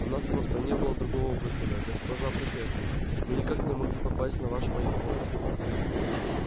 у нас просто не было другого выхода госпожа профессор мы никак не могли попасть на наш поезд